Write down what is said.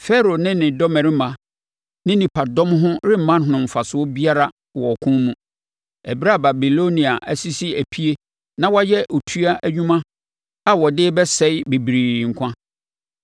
Farao ne ne dɔmmarima ne nnipadɔm ho remma no mfasoɔ biara wɔ ɔko mu, ɛberɛ a Babilonia asisi epie na wayɛ otua nnwuma a ɔde rebɛsɛe bebree nkwa.